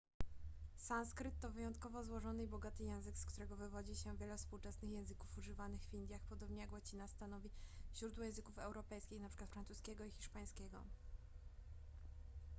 sanskryt to wyjątkowo złożony i bogaty język z którego wywodzi się wiele współczesnych języków używanych w indiach podobnie jak łacina stanowi źródło języków europejskich np francuskiego i hiszpańskiego